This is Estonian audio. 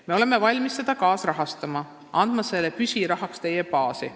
Me oleme valmis seda kaasrahastama, andma selle püsirahana teie baasi.